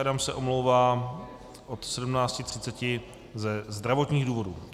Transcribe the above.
Adam se omlouvá od 17.30 ze zdravotních důvodů.